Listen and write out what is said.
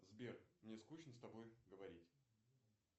сбер мне скучно с тобой говорить